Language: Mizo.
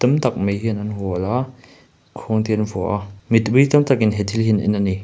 tam tak mai hian an hual a khuang te an vua a mi mipui tam takin he thil hi an en ani.